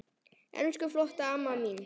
Elsku flotta amma mín.